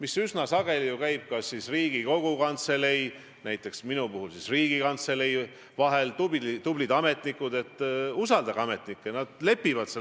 Ja teiseks, kas te äkki saate siin Riigikogu suure saali ees tuua vähemalt kolm konkreetset näidet selle kohta, kuidas kohus või prokuratuur on seadust rikkunud?